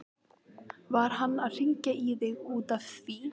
Var hann að hringja í þig út af því?